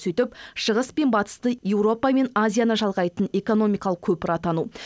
сөйтіп шығыс пен батысты еуропа пен азияны жалғайтын экономикалық көпір атану